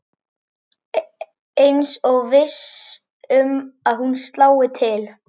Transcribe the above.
Eins og viss um að hún slái til.